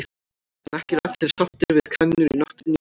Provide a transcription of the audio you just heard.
En ekki eru allir sáttir við kanínur í náttúrunni hér á landi.